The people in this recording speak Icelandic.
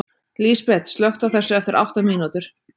Lísbet, slökktu á þessu eftir átta mínútur.